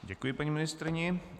Děkuji paní ministryni.